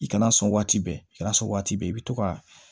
I kana sɔn waati bɛɛ i kana sɔn waati bɛɛ i bɛ to ka